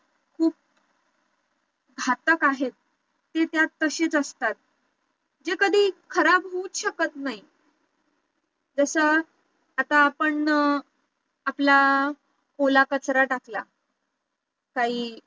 घातक आहेत हे त्यात तशीच असतात जे कधी खराब होऊच शकत नाही जसं आता आपण आपला ओला कचरा टाकला काही